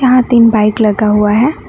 यहां तीन बाइक लगा हुआ है।